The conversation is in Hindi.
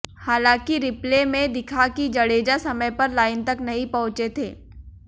हालांकि रिप्ले में दिखा कि जडेजा समय पर लाइन तक नहीं पहुंचे थे